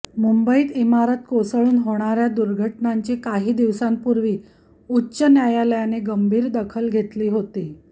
मुंबईत इमारत कोसळून होणार्या दुर्घटनांची काही दिवसांपूर्वी उच्च न्यायालयाने गंभीर दखल घेतली होती